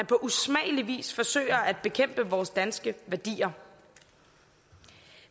på usmagelig vis forsøger at bekæmpe vores danske værdier